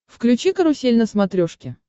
включи карусель на смотрешке